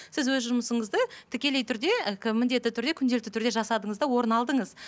сіз өз жұмысыңызды тікелей түрде і кім міндетті түрде күнделікті түрде жасадыңыз да орын алдыңыз